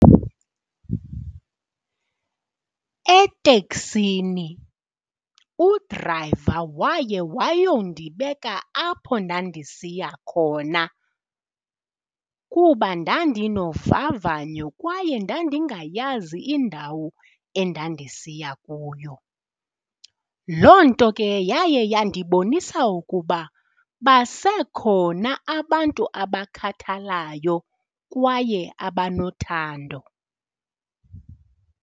Eteksini udrayiva waye wayondibeka apho ndandisiya khona kuba ndandinovavanyo kwaye ndandingayazi indawo endandisiya kuyo. Loo nto ke yaye yandibonisa ukuba basekhona abantu abasakhathalayo kwaye abanothando.